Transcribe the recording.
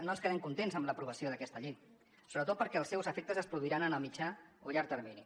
no quedem contents amb l’aprovació d’aquesta llei sobretot perquè els seus efectes es produiran en el mitjà o llarg termini